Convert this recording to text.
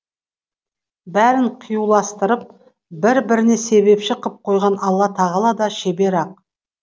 бәрін қиюластырып бір біріне себепші қып қойған алла тағала да шебер ақ